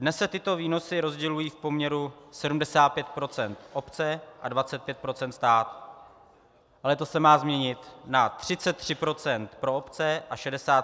Dnes se tyto výnosy rozdělují v poměru 75 % obce a 25 % stát, ale to se má změnit na 33 % pro obce a 67 % pro stát.